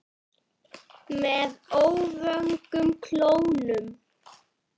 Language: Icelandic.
Með öfugum klónum.